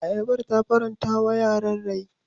Ayabar ta faranta wa yaran rai.